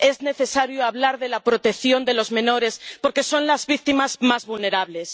es necesario hablar de la protección de los menores, porque son las víctimas más vulnerables.